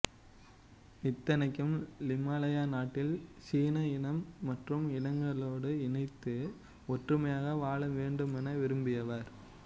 இத்தனைக்கும் Lim Malaya நாட்டில் சீன இனம் மற்ற இனங்களோடு இணைந்து ஒற்றுமையாக வாழ வேண்டுமென விரும்பியவர்